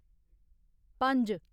पंज